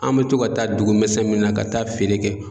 An mɛ to ka taa dugu misɛn min na ka taa feere kɛ